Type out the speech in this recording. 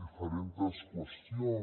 diferents qüestions